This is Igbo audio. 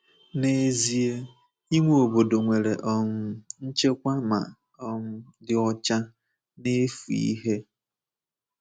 N’ezie, inwe obodo nwere um nchekwa ma um dị ọcha na-efu ihe.